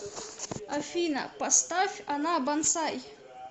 афина поставь она бонсаи